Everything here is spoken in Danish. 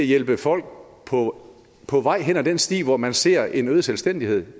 hjælpe folk på på vej hen ad den sti hvor man ser en øget selvstændighed